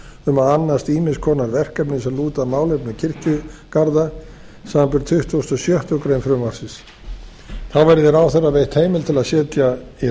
um að annast ýmiss konar verkefni sem lúta að málefnum kirkjugarða samanber tuttugustu og sjöttu greinar frumvarpsins þá verði ráðherra veitt heimild til að setja í